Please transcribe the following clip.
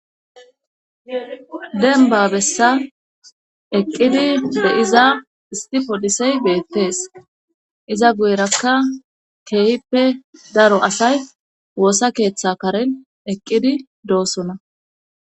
denba bessa eqqidi beyiza istipodisey beettees iza guyrakka keehippe daro asay woosa keeththa karen eqqidi doosona